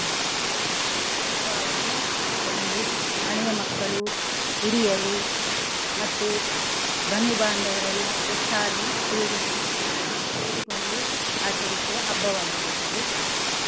ದೀಪಾವಳಿಯಂದು ಮನೆಯ ಮಕ್ಕಳು ಹಿರಿಯರು ಮತ್ತೆ ಬಂಧು ಬಾಂದವರೆಲ್ಲಾ ಒಟ್ಟಾಗಿ ಸೇರಿಸಿ ಸೇರಿಕೊಂಡು ಆಚರಿಸುವ ಹಬ್ಬವಾಗಿರುತ್ತದೆ.